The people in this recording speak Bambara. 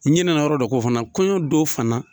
N ɲɛnɛna yɔrɔ dɔ kɔ fana kɔɲɔn don fana